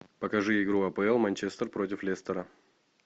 покажи игру апл манчестер против лестера